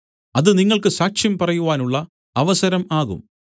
അത് നിങ്ങൾക്ക് സാക്ഷ്യം പറയുവാനുള്ള അവസരം ആകും